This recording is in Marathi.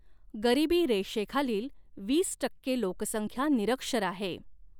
गरीबी रेषेखालील वीस टक्के लोकसंख्या निरक्षर आहे.